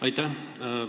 Aitäh!